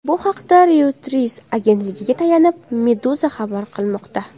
Bu haqda Reuters agentligiga tayanib, Meduza xabar qilmoqda .